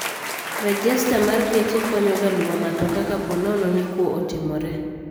Rejesta mar geche konyo ga luwo matoka ka ponono ni kwoo otimore